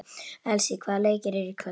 Elsý, hvaða leikir eru í kvöld?